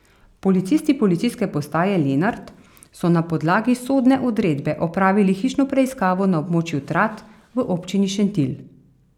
Policisti policijske postaje Lenart so na podlagi sodne odredbe opravili hišno preiskavo na območju Trat v občini Šentilj.